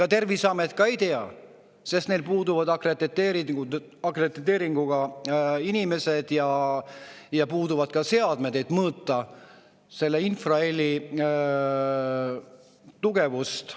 Ega Terviseamet ka ei tea, sest neil puuduvad akrediteeringuga inimesed ja puuduvad ka seadmed, et mõõta selle infraheli tugevust.